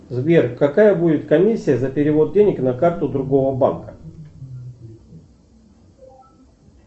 сбер какая будет комиссия за перевод денег на карту другого банка